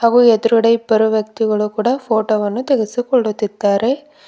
ಹಾಗು ಎದ್ರುಗಡೆ ಇಬ್ಬರು ವ್ಯಕ್ತಿಗಳು ಕೂಡ ಫೋಟೋ ವನ್ನು ತೆಗೆಸಿಕೊಳ್ಳುತ್ತಿದ್ದಾರೆ.